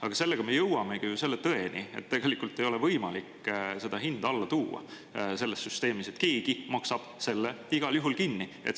Aga sellega me jõuamegi ju selle tõeni, et tegelikult ei ole võimalik seda hinda alla tuua selles süsteemis, keegi maksab selle igal juhul kinni.